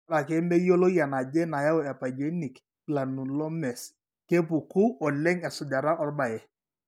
Ore ake meyioloi enaje nayau epyogenic granulomase, kepuku oleng esujata orbaye.